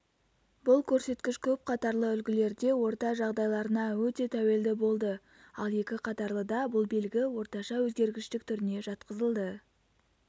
бұл көрсеткіш көп қатарлы үлгілерде орта жағдайларына өте тәуелді болды ал екі қатарлыда бұл белгі орташа өзгергіштік түріне жатқызылды